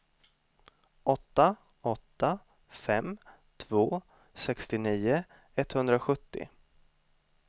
åtta åtta fem två sextionio etthundrasjuttio